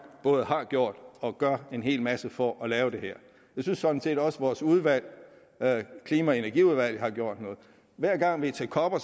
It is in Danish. både har gjort og gør en hel masse for at lave det her jeg synes sådan set også vores udvalg klima og energiudvalget har gjort noget hver gang vi er til coper